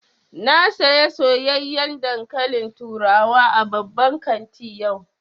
Na saya soyayyan dankalin turawa a babban kanti yau